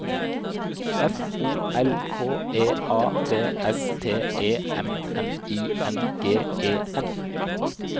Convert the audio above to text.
F O L K E A V S T E M N I N G E N